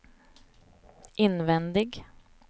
invändig